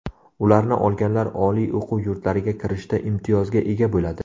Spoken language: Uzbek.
Ularni olganlar oliy o‘quv yurtlariga kirishda imtiyozga ega bo‘ladi.